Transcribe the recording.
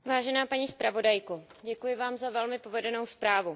Paní zpravodajko, děkuji vám za velmi povedenou zprávu.